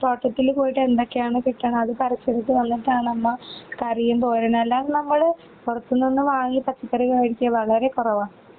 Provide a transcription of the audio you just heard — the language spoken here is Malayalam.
തോട്ടത്തിൽ പോയിട്ട് എന്തൊക്കെയാണ് കിട്ടണ അത് പറിച്ചിട്ട് വന്നിട്ടാണ് അന്ന് കറിയും തോരനെല്ലാം നമ്മള് പുറത്തു നിന്ന് വാങ്ങി പച്ചക്കറി കഴിക്ക വളരെ കുറവാ.